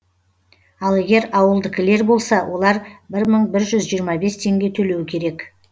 ал егер ауылдікілер болса олар бір мың бір жүз жиырма бес теңге төлеу керек